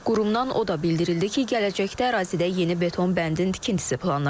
Qurumdan o da bildirildi ki, gələcəkdə ərazidə yeni beton bəndin tikintisi planlaşdırılır.